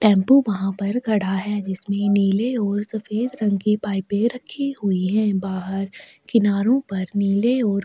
टम्पू वहाँ पर खड़ा है जिसमे नीले और सफ़ेद रंग के पाइपे रखी हुई है बाहर किनारो पर नीले और--